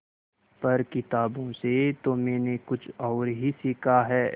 पर किताबों से तो मैंने कुछ और ही सीखा है